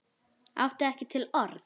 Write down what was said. Átti ekki til orð.